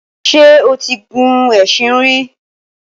Ṣé o ti gun ẹṣin rí?